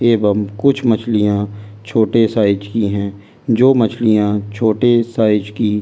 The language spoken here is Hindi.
कुछ मछलियां छोटे साइज की हैं जो मछलियां छोटे साइज की।